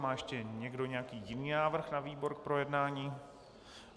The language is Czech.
Má ještě někdo nějaký jiný návrh na výbor k projednání?